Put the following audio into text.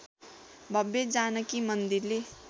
भव्य जानकी मन्दिरले